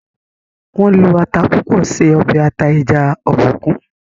wón ló atá púpọ ṣe obe ata eja Obòkun